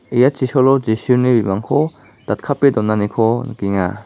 ia chisolo jisuni datkape donaniko nikenga.